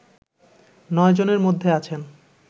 নয় জনের মধ্যে আছেন